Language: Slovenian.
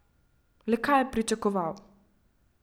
Le kaj je pričakoval?